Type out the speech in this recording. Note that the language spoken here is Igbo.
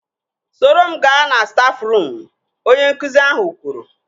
Soro m gaa na stafruum! Onye nkụzi ahụ kwuru